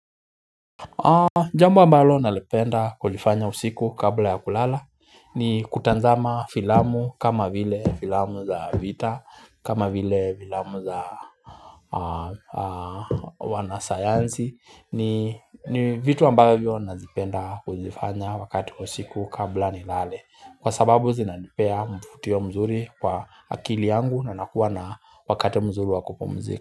Jambo ambalo nalipenda kulifanya usiku kabla ya kulala ni kutazama filamu kama vile filamu za vita kama vile filamu za wanasayansi ni vitu ambavyo nazipenda kuzifanya wakati wa usiku kabla ni lale kwa sababu zinanipea mvutio mzuri kwa akili yangu na nakuwa na wakati mzuri wakupumzika.